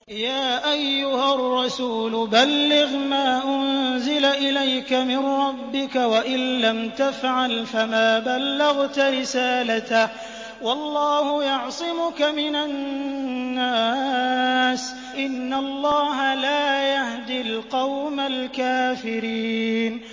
۞ يَا أَيُّهَا الرَّسُولُ بَلِّغْ مَا أُنزِلَ إِلَيْكَ مِن رَّبِّكَ ۖ وَإِن لَّمْ تَفْعَلْ فَمَا بَلَّغْتَ رِسَالَتَهُ ۚ وَاللَّهُ يَعْصِمُكَ مِنَ النَّاسِ ۗ إِنَّ اللَّهَ لَا يَهْدِي الْقَوْمَ الْكَافِرِينَ